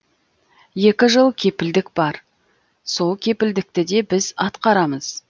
екі жыл кепілдік бар сол кепілдікті де біз атқарамыз